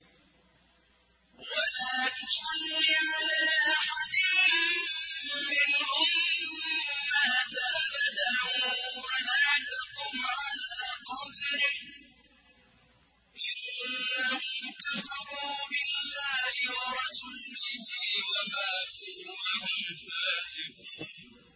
وَلَا تُصَلِّ عَلَىٰ أَحَدٍ مِّنْهُم مَّاتَ أَبَدًا وَلَا تَقُمْ عَلَىٰ قَبْرِهِ ۖ إِنَّهُمْ كَفَرُوا بِاللَّهِ وَرَسُولِهِ وَمَاتُوا وَهُمْ فَاسِقُونَ